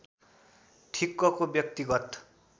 ठिक्कको व्यक्तिगत